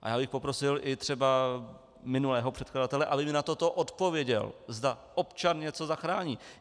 A já bych poprosil i třeba minulého předkladatele, aby mi na toto odpověděl, zda občan něco zachrání.